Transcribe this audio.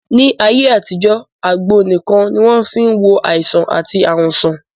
Ní ayé àtijọ́, àgbo nìkan ni wọ́n fí n wo àìsàn àti ààrùn sàn